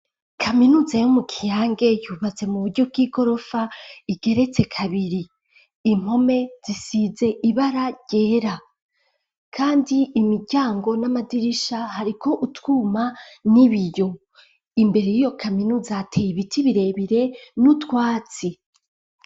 kaminuza yo mu kiyange yubatse mu buryo bw'igorofa igeretse kabiri, impome zisize ibara ryera kandi imiryango n'amadirisha hariko utwuma n'ibiyo, imbere y'iyo kaminuza hateye ibiti birebire n'utwatsi.